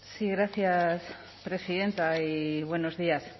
sí gracias presidenta y buenos días